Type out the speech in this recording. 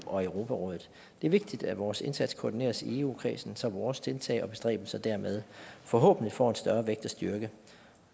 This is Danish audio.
og europarådet det er vigtigt at vores indsats koordineres i eu kredsen så vores tiltag og bestræbelser dermed forhåbentlig får en større vægt og styrke